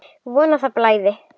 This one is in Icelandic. Von að það blæði!